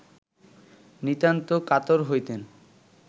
নিতান্ত কাতর হইতেন